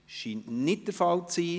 Dies scheint nicht der Fall zu sein.